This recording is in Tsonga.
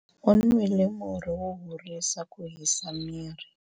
u nwile murhi wo horisa ku hisa miri